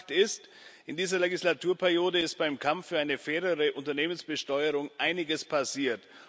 Und Fakt ist In dieser Wahlperiode ist beim Kampf für eine fairere Unternehmensbesteuerung einiges passiert.